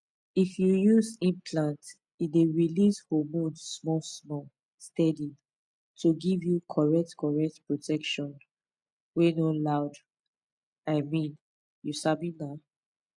if you use implant e dey release hormone smallsmall steady to give you correct correct protection wey no loudi mean you sabi na